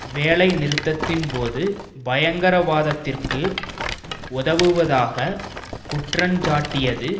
வேலை நிறுத்தத்தின் போது பயங்கரவாதத்திற்கு உதவுவதாக குற்றஞ்சாட்டியது